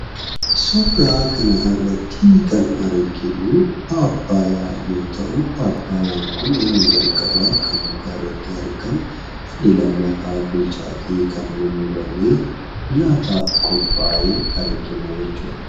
Suuraa kanarratti kan arginuu paappayyaa yoo ta'uu, paappayyaan kun inni jalqabaa mukarratti argamu, inni lamaffaan bilchaatee kan mummurame; nyaataaf qophaa'ee argina jechuudha